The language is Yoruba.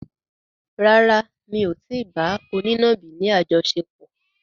Rárá, mi ò tí ì bá onínàbì ni àjọṣepọ̀.